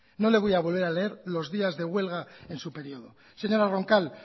no le voy a volver a leer los días de huelga en su periodo señora roncal